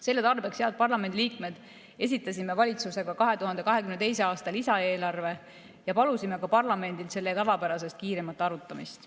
Selle tarbeks, head parlamendiliikmed, esitasime valitsusega 2022. aasta lisaeelarve ja palusime parlamendilt selle tavapärasest kiiremat arutamist.